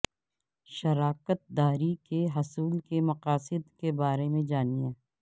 شراکت داری کے حصول کے مقاصد کے بارے میں جانیں